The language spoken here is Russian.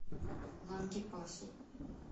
лангепасу